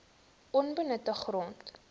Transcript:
onbenutte grond